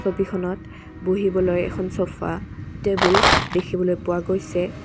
ছবিখনত বহিবলৈ এখন চফা টেবুল দেখিবলৈ পোৱা গৈছে।